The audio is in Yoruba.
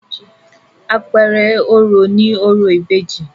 Àpẹẹrẹ orò ni orò ìbejì.